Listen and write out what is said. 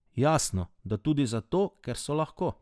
Jasno, da tudi zato, ker so lahko.